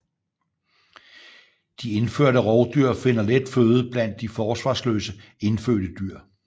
De indførte rovdyr finder let føde blandt de forsvarsløse indfødte dyr